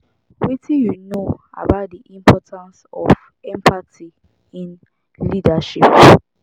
wetin you know about di importance of empathy in leadership